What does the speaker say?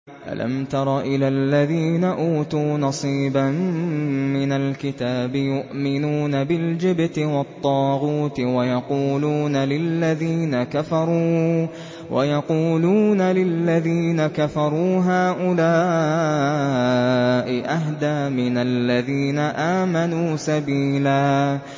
أَلَمْ تَرَ إِلَى الَّذِينَ أُوتُوا نَصِيبًا مِّنَ الْكِتَابِ يُؤْمِنُونَ بِالْجِبْتِ وَالطَّاغُوتِ وَيَقُولُونَ لِلَّذِينَ كَفَرُوا هَٰؤُلَاءِ أَهْدَىٰ مِنَ الَّذِينَ آمَنُوا سَبِيلًا